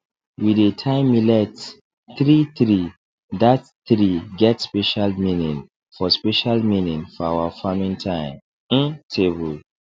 we dey tie millet threethree that three get special meaning for special meaning for our farming time um table